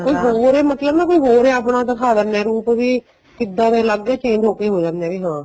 ਕੋਈ ਹੋਰ ਏ ਮਤਲਬ ਨਾ ਕੋਈ ਹੋਰ ਏ ਆਪਣਾ ਦਿੱਖਾ ਦੇਣੇ ਏ ਰੂਪ ਵੀ ਕਿਦਾਂ ਦੇ ਅਲੱਗ change ਹੋਕੇ ਹੋ ਜਾਂਦੇ ਨੇ ਹਾਂ